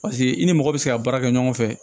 Paseke i ni mɔgɔ bɛ se ka baara kɛ ɲɔgɔn fɛ